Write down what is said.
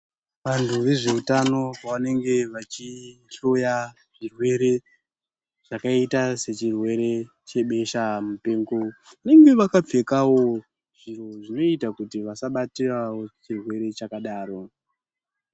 Vantu vezvehutano vanenge vachihloya zvirwere zvakaita sechirwere chebeshamupengo. Vanenge vakapfekawo, zviro zvinoita kuti vasabatirawo chirwere chakadaro